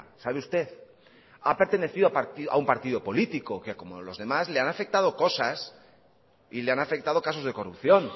sabe usted ha pertenecido a un partido político que como los demás le han afectado cosas y le han afectado casos de corrupción